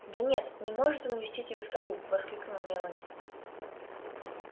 да нет не может он увезти тебя в тару воскликнула мелани